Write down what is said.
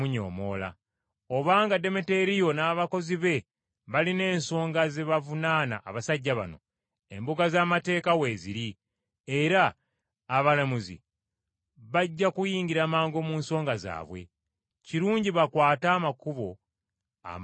Obanga Demeteriyo n’abakozi be balina ensonga ze bavunaana abasajja bano, embuga z’amateeka weeziri era abalamuzi bajja kuyingira mangu mu nsonga zaabwe. Kirungi bakwate amakubo amatongole.